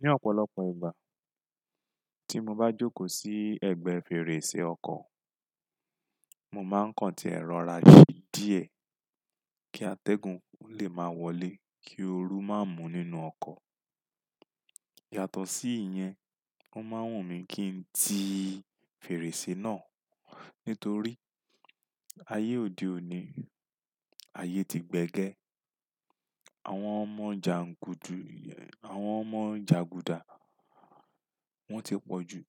Ní ọ̀pọ̀lọpọ̀ ìgbà tí mo bá jókòó sí ẹgbẹ́ fèrèsé ọkọ̀, mo máa ń káǹtì ẹ́ rọra sí díẹ̀ kí atẹ́gùn ó lè máa wọlé kí ooru má mú nínú ọkọ̀. Yàtọ̀ sí ìyẹn, o máa ń wùn mí kí n ti fèrèsé náà nítorí ayé òde òní, ayé ti gbẹ́gẹ́. Àwọn ọmọ jàǹgùdà, àwọn ọmọ jàgùdà wọ́n ti pọ̀ jù.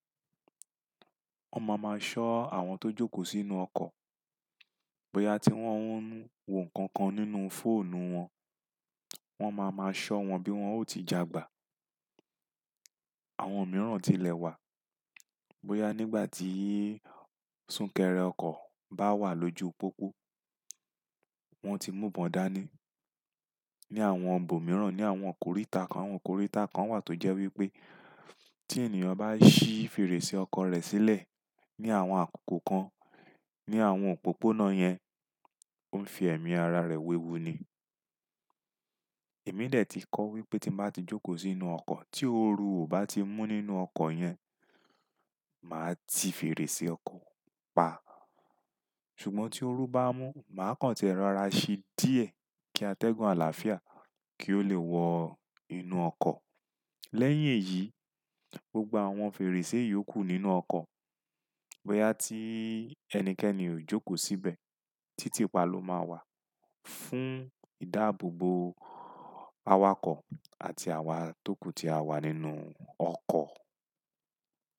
Wọ́n máa máa ṣọ́ àwọn tó jókòó sínú ọkọ̀,. Bóyá tí wọ́n ń wo nǹkan kan nínú fóònù wọn, wọ́n máa máa ṣọ́ wọn bí wọ́n ò ti jagba. Àwọn mìíràn ti lẹ̀ wá, bóyá nígbà tí súnkẹrẹ ọkọ̀ bá wà lójú pópó, wọ́n ti múbọ̀n dání. Ni àwọn ọ̀ǹbọ̀ mìíràn, ní àwọn òkòrìtá kan, òkòrìtá kan wà tó jẹ́ wípé tí ènìyàn bá ṣí fèrèsé ọkọ̀ rẹ̀ sílẹ̀ ní àwọn àkókò kan ní àwọn òpópónà yẹn, ó ń fi ẹ̀mí ara rẹ̀ wíwú ni. Èmi dè tí kọ́ wípé tí mo bá ti jókòó sínú ọkọ̀ tí ooru ò bá ti mú nínú ọkọ̀ yẹn màá ti fèrèsé ọkọ̀ pa. Ṣùgbọ́n tí ooru bá mú, màá káǹtì ẹ́ rọra sí díẹ̀ kí atẹ́gùn àlàáfíà kí ó lè wọ inú ọkọ̀. Lẹ́yìn èyí, gbogbo àwọn fèrèsé yìí ó kù nínú ọkọ̀ bóyá tí ẹnikẹ́ni ò jókòó síbẹ̀. Títì pa ló máa wà fún ìdáàbòbò awakọ̀ àti àwa tókù tí a wà nínú ọkọ̀.